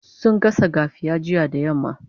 sun gasa gafiya jiya da yamma